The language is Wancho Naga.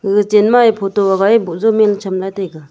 aga chenma e photo hagae boh jaw meen cham lah e taiga.